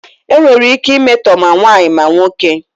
Enwere ike imetọ ma nwaanyị ma nwoke.